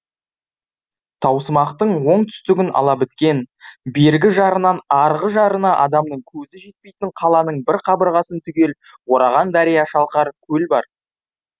таусымақтың оңтүстігін ала біткен бергі жарынан арғы жарына адамның көзі жетпейтін қаланың бір қабырғасын түгел ораған дария шалқар көл бар